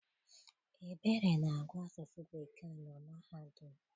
Ebere na-agụ Asụsụ Bekee na mahadum.